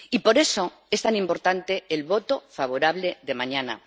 Y por eso es tan importante el voto favorable de mañana.